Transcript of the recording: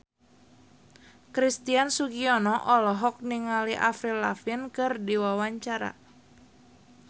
Christian Sugiono olohok ningali Avril Lavigne keur diwawancara